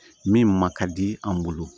Min ma di an bolo